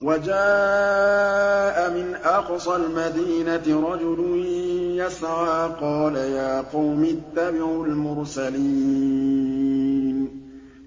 وَجَاءَ مِنْ أَقْصَى الْمَدِينَةِ رَجُلٌ يَسْعَىٰ قَالَ يَا قَوْمِ اتَّبِعُوا الْمُرْسَلِينَ